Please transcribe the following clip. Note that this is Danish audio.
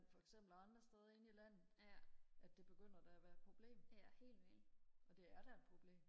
for eksempel og andre steder inde i landet at det begynder da og være et problem og det er da et problem